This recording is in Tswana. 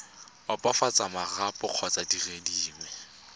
opafatsa marapo kgotsa dire dingwe